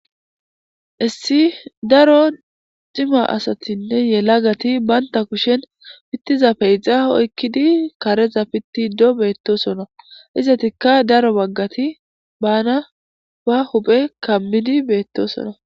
Issi daro cima asatinne yelaga asati banitappe kusheni pitiza pexxa oyikidi kareza pitiddo betosona izetika daro baggati bana ba huphe kamidi betosona